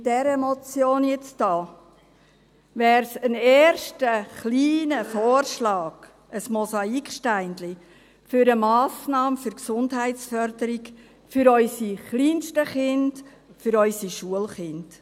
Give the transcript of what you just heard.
Mit dieser Motion hier wäre es ein erster kleiner Vorschlag, ein Mosaiksteinchen, für eine Massnahme für die Gesundheitsförderung, für unsere kleinsten Kinder, für unsere Schulkinder.